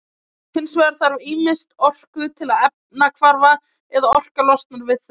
hins vegar þarf ýmist orku til efnahvarfa eða orka losnar við þau